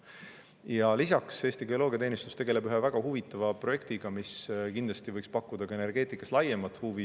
Ja lisaks, Eesti Geoloogiateenistus tegeleb ühe väga huvitava projektiga, mis kindlasti võiks pakkuda ka energeetikas laiemat huvi.